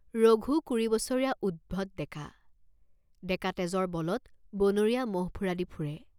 ৰঘু কুৰি বছৰীয়া উদ্ধত ডেকা, ডেকাতেজৰ বলত বনৰীয়া ম'হ ফুৰাদি ফুৰে।